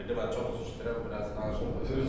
Mən çox üzr istəyirəm, biraz danışım.